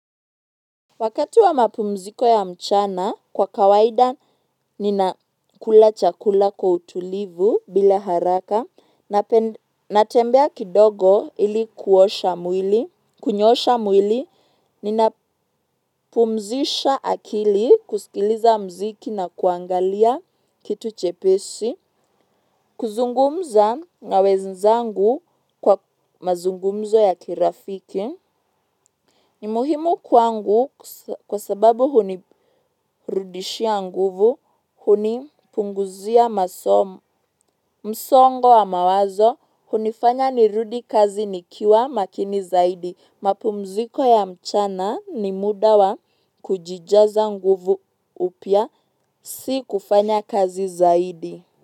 Wakati wa mapumziko ya mchana kwa kawaida ninakula chakula kwa utulivu bila haraka natembea kidogo ili kunyoosha mwili, ninapumzsha akili kusikiliza muziki na kuangalia kitu chepesi kuzungumza na wenzangu kwa mazungumzo ya kirafiki. Ni muhimu kwangu kwa sababu hunirudishia nguvu, hunipunguzia msongo wa mawazo, hunifanya nirudi kazi nikiwa makini zaidi, mapumziko ya mchana ni muda wa kujijaza nguvu upya, si kufanya kazi zaidi.